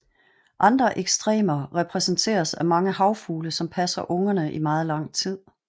Andre ekstremer repræsenteres af mange havfugle som passer ungerne i meget lang tid